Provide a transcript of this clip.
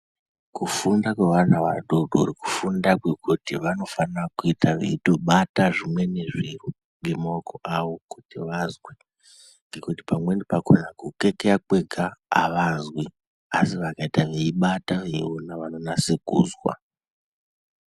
Kufunda kwevana vadodori kufunda kwekuti vanofanira kuita veindobata zvimweni zviro ngemaoko awo kuti vazwe ngekuti pamweni pakhona kukekeya kwega avazwi asi vakaita veibata veiona vanonase kuzwa.